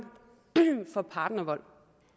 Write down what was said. for partnervold